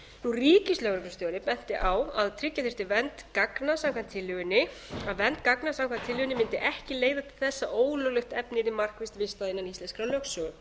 framkvæmd ríkislögreglustjóri benti á að tryggja þyrfti vernd gagna samkvæmt tillögunni að vernd gagna samkvæmt tillögunni mundi ekki leiða til þess að ólöglegt efni yrði markvisst vistað innan íslenskrar lögsögu